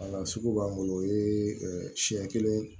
Wala sugu b'an bolo o ye siɲɛ kelen